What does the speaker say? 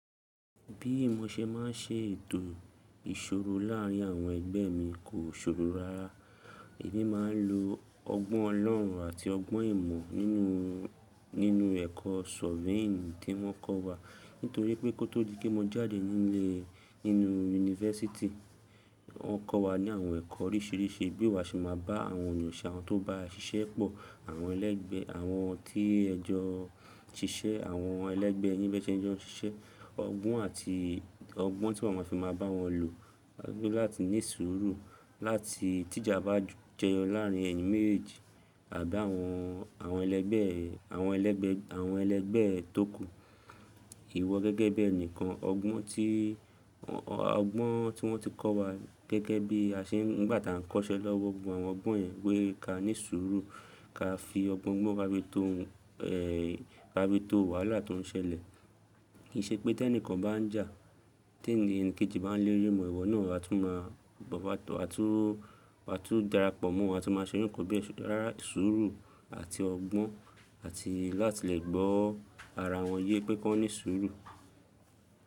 Bí mo ṣe ma ń ṣe ètò ìṣòro láàrín àwọn ẹgbẹ́ mi kò ṣòro rárá. Emi máa ń lo ọgbọ́n ọlọ́run àti ọgbọ́n ìmọ̀ nínú, nínú ẹ̀kọ́ surveying tí wọ́n kọ́ wa. Nítorí pé kó tó di pé mo jáde nílé, nínú yunifásítì, wọ́n kọ́ wa ní àwọn ẹ̀kọ́ oríṣìíríṣìí bí wa ṣe máa bá àwọn ènìyàn ṣẹ́ àwọn tó bá ṣiṣẹ́ pọ̀, àwọn ẹlẹ́gbẹ́, àwọn tí ẹjọ́ ṣiṣẹ́, àwọn ẹlẹ́gbẹ́ yin bẹ́ẹ̀ tí ẹjọ́ ń ṣiṣẹ́. Ọgbọ́n àti ọgbọ́n tí wọ́n máa fi máa bá wọn lò láti ní surur láti tí ìjà bá jẹyọ láàrín ẹyin mejeeji àbi àwọn, àwọn ẹlẹ́gbẹ́, àwọn ẹlẹ́gbẹ́, àwọn ẹlẹ́gbẹ́ tókù. Iwọ gẹ́gẹ́ bi ẹ̀nìkan, ọgbọ́n tí, ọgbọ́n tí wọ́n ti kọ́ wa gẹ́gẹ́ bí a ṣe ń, nígbà tí à ń kọ́ṣẹ́ lọ́wọ́ gbogbo àwọn ọgbọ́n yẹn pé ká ní ìṣòro, ká fi ọgbọ́n gbọ́n ka fii tó ẹ̀, ka fii tó wàhálà tó ń ṣẹlẹ̀. Kì í ṣe pé tí ẹnìkan bá ń jà, tí ènìyàn kejì bá ń léri mọ ẹ ìwọ náà, wà tún máa, wà tún, wà tún darapọ̀ mọ́ wa, a tún máa ṣe irú kan bẹ rárá suru àti ọgbọ́n àti láti lè gbọ́ ara wọn yé pé kọ́ní suru.